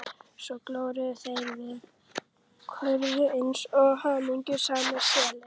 Svo góluðu þeir og köfuðu eins og hamingjusamir selir.